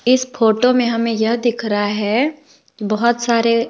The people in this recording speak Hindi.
इस फोटो में हमें यह दिख रहा है बहोत सारे--